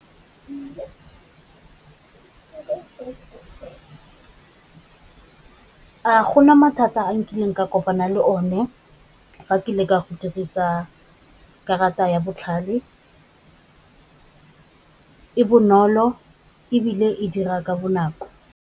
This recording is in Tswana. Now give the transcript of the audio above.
A gona mathata a nkileng ka kopana le o ne fa ke leka go dirisa karata ya botlhale, e bonolo ebile e dira ka bonako.